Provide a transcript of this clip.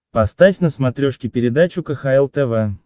поставь на смотрешке передачу кхл тв